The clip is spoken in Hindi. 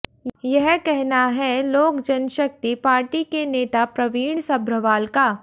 यह कहना है लोकजनशक्ति पार्टी के नेता प्रवीण सभ्रवाल का